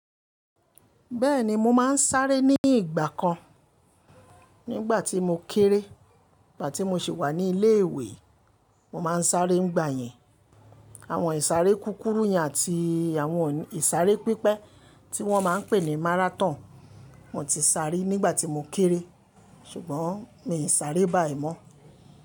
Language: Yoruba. Bẹ́ẹ̀ni mo máa ń sáré ní ìgbà kan. Nígbà tí mo kéré, ìgbà tí mo ṣì wà ní ilé ìwé, mo máa ń sáré ńgbà yẹn. Àwọn ìsáré kúkúrú yẹn àti àwọn ìsáré pípẹ́ tí wọ́n máa ń pè ní márátọ̀n. Mo ti sá ri nígbà tí mo kéré ṣùgbọ́n mi i sáré báyìí mọ́.